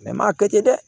m'a kɛ ten dɛ